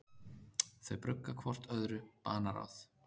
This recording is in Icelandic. Þau brugga hvort öðru banaráð.